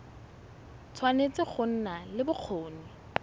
tshwanetse go nna le bokgoni